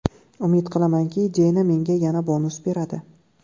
Umid qilamanki, Deyna menga yana bonus beradi.